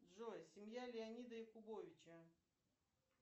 джой семья леонида якубовича